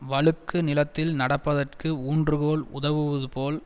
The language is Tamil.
வழுக்கு நிலத்தில் நடப்பதற்கு ஊன்றுகோல் உதவுவது போல்